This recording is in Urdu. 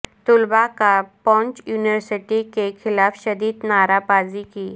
طلباء کا پونچھ یونیورسٹی کے خلاف شدید نعرہ بازی کی